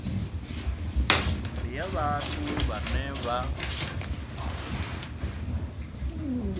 ndi ya vhathu vhane vha